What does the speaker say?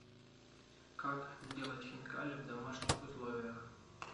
как сделать хинкали в домашних условиях